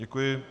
Děkuji.